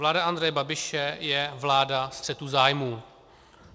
Vláda Andreje Babiše je vláda střetu zájmů.